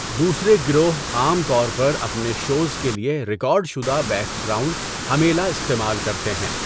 دوسرے گروہ عام طور پر اپنے شوز کے لیے ریکارڈ شدہ بیک گراؤنڈ ہمّیلا استعمال کرتے ہیں۔